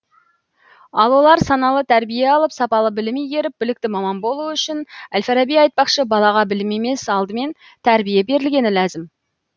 ал олар саналы тәрбие алып сапалы білім игеріп білікті маман болуы үшін әл фараби айтпақшы балаға білім емес алдымен тәрбие берілгені ләзім